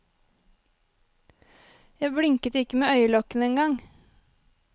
Jeg blinket ikke med øyelokkene engang.